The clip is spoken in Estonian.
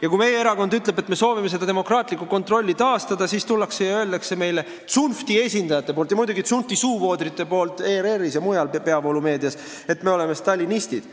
Ja kui meie erakond ütleb, et me soovime demokraatlikku kontrolli taastada, siis tullakse ja öeldakse meile – seda teevad tsunfti esindajad ja tsunfti suuvoodrid ERR-is ja mujal peavoolumeedias –, et me oleme stalinistid.